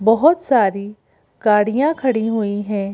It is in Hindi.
बहुत सारी गाड़ियां खड़ी हुई हैं।